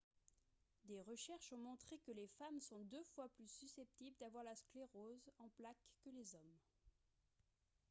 des recherches ont montré que les femmes sont deux fois plus susceptibles d'avoir la sclérose en plaques que les hommes